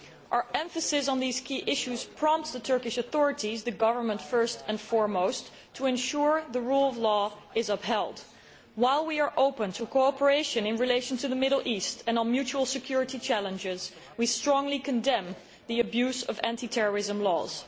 Our emphasis on these key issues prompts the Turkish authorities, the government first and foremost, to ensure the rule of law is upheld. While we are open to cooperation in relation to the Middle East and on mutual security challenges, we strongly condemn the abuse of anti terrorism laws.